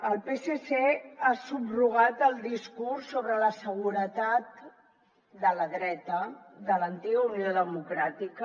el psc ha subrogat el discurs sobre la seguretat de la dreta de l’antiga unió democràtica